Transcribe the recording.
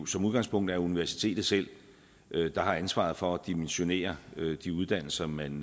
som udgangspunkt er universitetet selv der har ansvaret for at dimensionere de uddannelser man